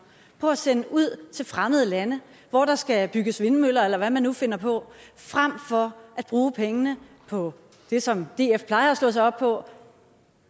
på at sende ud til fremmede lande hvor der skal bygges vindmøller eller hvad man nu finder på frem for at bruge pengene på det som df plejer at slå sig op på